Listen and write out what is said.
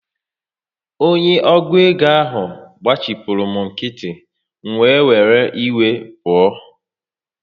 Onye ọgụ égo ahụ gbachipuru m nkịtị, m wee were iwe pụọ